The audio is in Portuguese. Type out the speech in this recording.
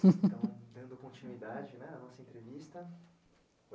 Então, então, dando né continuidade na nossa entrevista.